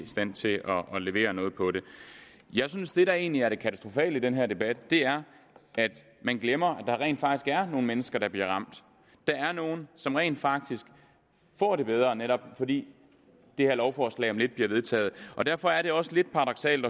stand til at levere noget jeg synes at det der egentlig er det katastrofale i den her debat er at man glemmer at der rent faktisk er nogle mennesker der bliver ramt der er nogle som rent faktisk får det bedre netop fordi det her lovforslag om lidt bliver vedtaget og derfor er det også lidt paradoksalt